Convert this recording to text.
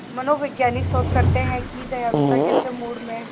मनोवैज्ञानिक शोध करते हैं कि दयालुता कैसे मूड में